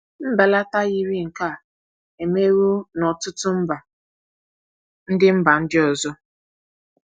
Mbelata yiri nke a emewo n’ọtụtụ mba ndị mba ndị ọzọ.